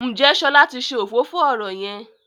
Njé Shola tí ṣe òfófó ọrọ yén?